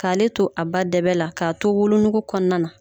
K'ale to a ba dɛbɛ la, k'a to wolonugu kɔɔna na